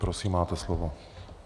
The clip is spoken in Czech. Prosím, máte slovo.